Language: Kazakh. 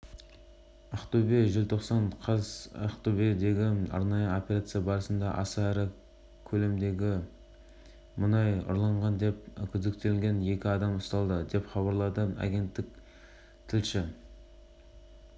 ұйымдастырушылардың пікірінше халық арасында өрт қауіпсіздігі мәдениетінің деңгейін көтеру қоғамдық маңыздылығы бар іс тек профилактикалық жұмыстарды